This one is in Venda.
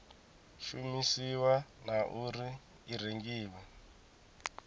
shumisiwa na uri i rengiwa